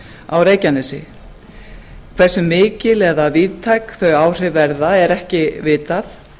á reykjanesi eru mikil eða víðtæk þau áhrif verða er ekki vitað